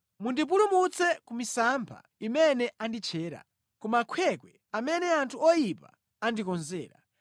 Mundipulumutse ku misampha imene anditchera, ku makhwekhwe amene anthu oyipa andikonzera.